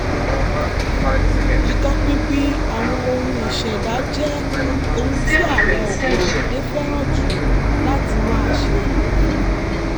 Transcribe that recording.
ìtọpinpin àwọn ohun ìṣẹ̀dá jé ohun tí àwọn ọ̀pọ̀ ìdílé fẹ́ràn jù láti máa ṣe